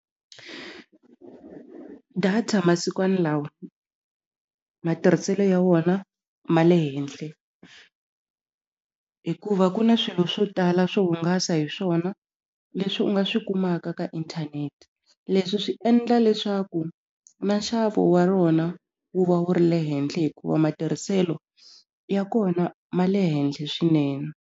Data masikwani lawa matirhiselo ya wona ma le henhle hikuva ku na swilo swo tala swo hungasa hi swona leswi u nga swi kumaka ka inthanete leswi swi endla leswaku na nxavo wa rona wu va wu ri le henhla hikuva matirhiselo ya kona ma le henhle swinene.